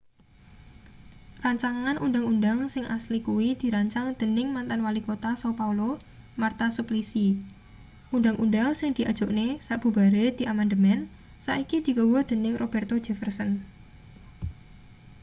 rancangan undhang-undhang sing asli kuwi dirancang dening mantan walikota são paulo marta suplicy. undhang-undhang sing diajokne sabubare diamandemen saiki digawa dening roberto jefferson